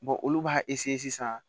olu b'a sisan